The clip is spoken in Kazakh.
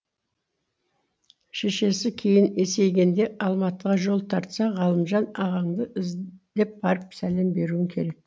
шешесі кейін есейгенде алматыға жол тартса ғалымжан ағаңды іздеп барып сәлем беруің керек